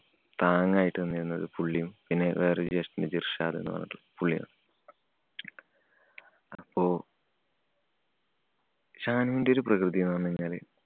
താങ്ങായിട്ട് നിന്നിരുന്നത് പുള്ളിയും, പിന്നെ വേറെ ഒരു ജ്യേഷ്ഠൻണ്ട് ഇര്‍ഷാദ് എന്ന് പറഞ്ഞിട്ട് പുള്ളിയുമാണ്. അപ്പൊ ഷാനുണ്ടൊരു പ്രകൃതി എന്ന് പറഞ്ഞു കഴിഞ്ഞാല്